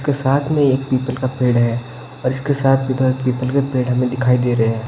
उसके साथ में एक पीपल का पेड़ है और इसके साथ भी तो एक पीपल पेड़ हमें दिखाई दे रहे हैं।